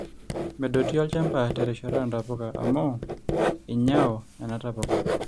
medoti olchamba terishata oontapuka amu einyao nena tapuka